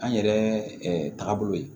An yɛrɛ taabolo ye